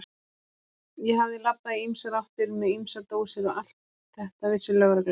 Ég hafði labbað í ýmsar áttir með ýmsar dósir og allt þetta vissi lögreglan.